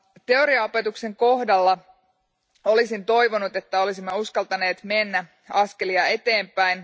Teoriaopetuksen kohdalla olisin toivonut, että olisimme uskaltaneet mennä askelia eteenpäin.